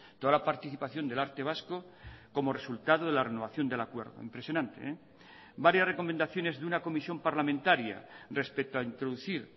toda la participación del arte vasco como resultado de la renovación del acuerdo impresionante varias recomendaciones de una comisión parlamentaria respecto a introducir